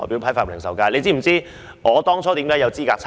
大家是否知道我當初如何有資格參選？